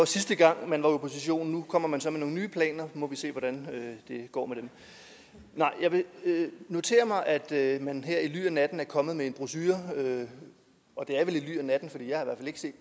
sidste gang var i opposition nu kommer man så med nogle nye planer og vi må se hvordan det går med dem nej jeg vil notere mig at man her i ly af natten er kommet med en brochure og det er vel i ly af natten